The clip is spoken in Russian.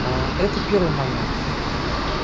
а это первый момент